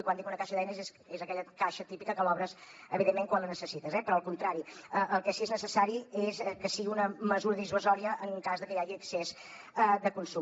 i quan dic una caixa d’eines és aquella caixa típica que l’obres evidentment quan la necessites eh però al contrari el que sí que és necessari és que sigui una mesura dissuasòria en cas de que hi hagi excés de consum